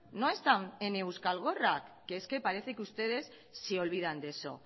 no están en euskal gorrak que es que parece que ustedes se olvidan de eso